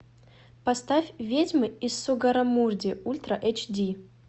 поставь ведьмы из сугаррамурди ультра эйч ди